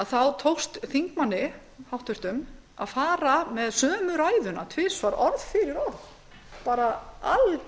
þá tókst háttvirtum þingmanni að fara með sömu ræðuna tvisvar orð fyrir orð